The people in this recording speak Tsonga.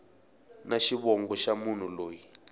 na xivongo xa munhu loyi